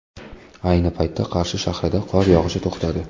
Ayni paytda Qarshi shahrida qor yog‘ishi to‘xtadi.